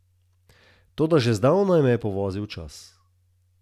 Toda že zdavnaj me je povozil čas.